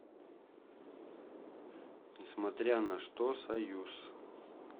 несмотря на что союз